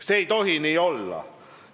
See ei tohi nii olla.